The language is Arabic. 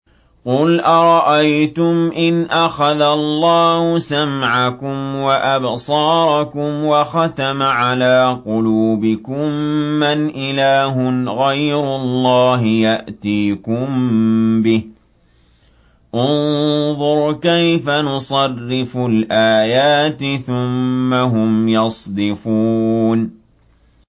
قُلْ أَرَأَيْتُمْ إِنْ أَخَذَ اللَّهُ سَمْعَكُمْ وَأَبْصَارَكُمْ وَخَتَمَ عَلَىٰ قُلُوبِكُم مَّنْ إِلَٰهٌ غَيْرُ اللَّهِ يَأْتِيكُم بِهِ ۗ انظُرْ كَيْفَ نُصَرِّفُ الْآيَاتِ ثُمَّ هُمْ يَصْدِفُونَ